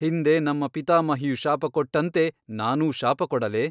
ಹಿಂದೆ ನಮ್ಮ ಪಿತಾಮಹಿಯು ಶಾಪಕೊಟ್ಟಂತೆ ನಾನೂ ಶಾಪಕೊಡಲೇ?